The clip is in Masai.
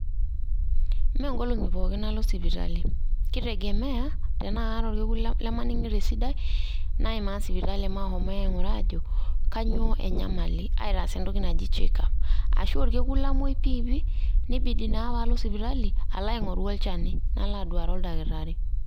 Mmee nkolongi pookin alo sipitali ,kitegemea tenaa kaata orkekun lemaningito esidai naimaa sipitali mahomi ainguraa aajo kanyoo enyamali aitaas entoki naji checkup ashu orekun lamwoi piipi nibidi naa paalo sipitali alo aingoru olchani nalo aduare oldakitari